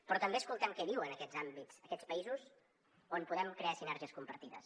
però també escoltem què diuen aquests àmbits aquests països on podem crear sinergies compartides